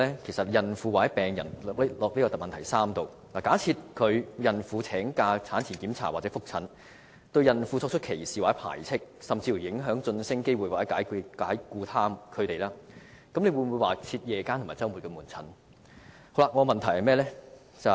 我們將孕婦或病人代入主體質詢的第三部分，假設有孕婦請假進行產前檢查或覆診，而僱主對他們作出歧視或排斥的行為，甚至影響其晉升機會或解僱他們，政府又會否增設夜間或周末門診服務？